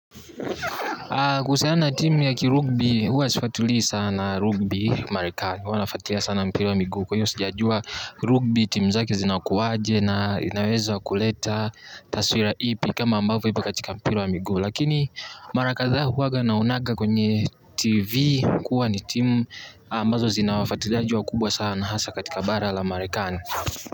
Kuhusiana na timu ya kirugbi huwa sifuatilii sana rugby Marekani. Huwanafuatilia sana mpira wa miguu kwahiyo sijajua rugby timu zake zinakuwaje na inaweza kuleta taswira ipi kama ambavyo ipo katika mpira wa miguu. Lakini mara kadhaa huwaga naonaga kwenye TV kuwa ni timu ambazo zinawafuatiliaji wakubwa sana hasa katika bara la marekani.